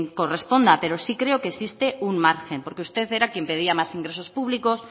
corresponda pero sí creo que existe un margen porque usted era quien pedía más ingresos públicos